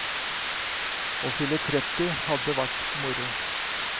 Å fylle tretti hadde vært moro.